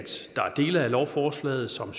dele af lovforslaget som